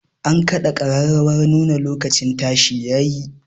An kaɗa ƙararrawar nuna lokacin tashi ya yi